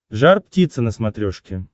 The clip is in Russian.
жар птица на смотрешке